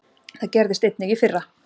Það gerðist einnig í fyrra.